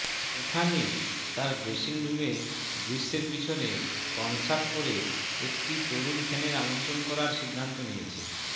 Stephanie তার dressing রুমে দৃশ্যের পিছনে কনসার্ট পরে একটি তরুণ ফ্যানের আমন্ত্রণ করার সিদ্ধান্ত নিয়েছে